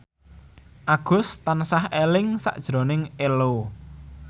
Agus tansah eling sakjroning Ello